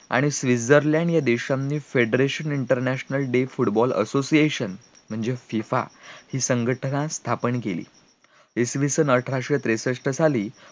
आणि स्वित्झरलँड या देशातील federation international day football association म्हणजे FIFA संघटना स्थापन केली इसवी सण अठराशे त्रेसष्ट साली